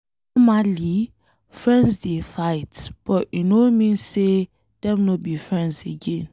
Normally, friends dey fight but e no mean say Dem no be friends again.